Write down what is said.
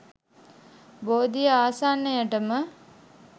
බෝධිය ආසන්නයටම